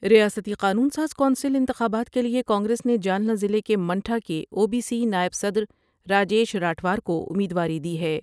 ریاستی قانون ساز کونسل انتخابات کے لئے کانگریس نے جالی ضلع کے منٹھا کے او بی سی نائب صدر راجیش راٹھوڑ کوامید واری دی ہے ۔